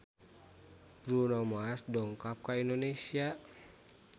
Bruno Mars dongkap ka Indonesia